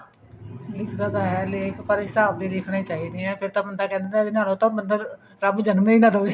ਲਿਖਦਾ ਤਾਂ ਲੇਖ ਪਰ ਜਿਸ ਹਿਸਾਬ ਦੇ ਲਿਖਣੇ ਚਾਹੀਦੇ ਨੇ ਫ਼ੇਰ ਤਾਂ ਬੰਦਾ ਕਹਿੰਦਾ ਉਹ ਤਾਂ ਮਤਲਬ ਰੱਬ ਜਨਮ ਹੀ ਨਾ ਦਵੇ